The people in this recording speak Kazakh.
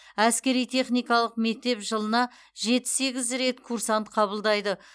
әскери техникалық мектеп жылына жеті сегіз рет курсант қабылдайды